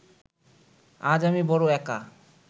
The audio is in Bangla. আজ আমি বড় একা